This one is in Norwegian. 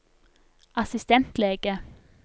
assistentlege